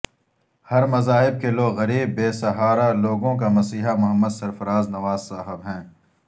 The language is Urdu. ہر مذاھب کے لوگ غریب بیسہارا لوگوں کا مسیحا محمد سرفراز نواز صاحب ہیں